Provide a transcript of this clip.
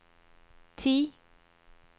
ti